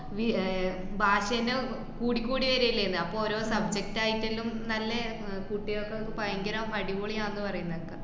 V~ ആഹ് ഭാഷ എല്ലോ കൂടി കൂടി വര്യല്ലേന്ന്, അപ്പോ ഓരോ subject ആയിട്ടെല്ലോം നല്ലേ ആഹ് കുട്ടികക്കൊക്കെ പയങ്കരം അടിപൊളിയാന്ന് പറയുന്നേക്കാ.